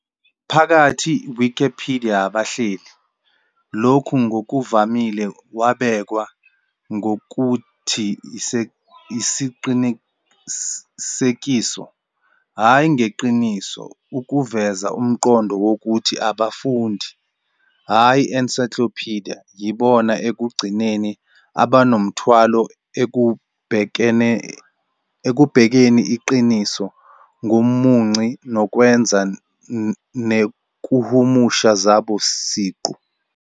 Phakathi Wikipedia abahleli, lokhu ngokuvamile wabekwa ngokuthi "Isiqinisekiso, hhayi ngeqiniso 'ukuveza umqondo wokuthi abafundi, hhayi encyclopedia, yibona ekugcineni abanomthwalo ekubhekeni yiqiniso komunci nokwenza nekuhumusha zabo siqu.